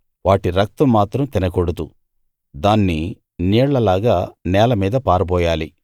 వాటి రక్తం మాత్రం తినకూడదు దాన్ని నీళ్లలాగా నేల మీద పారబోయాలి